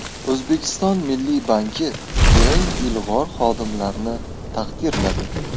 O‘zbekiston Milliy banki eng ilg‘or xodimlarini taqdirladi.